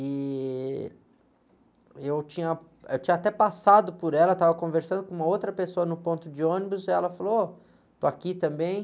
E eu tinha, eu tinha até passado por ela, estava conversando com uma outra pessoa no ponto de ônibus, e ela falou, ô, estou aqui também.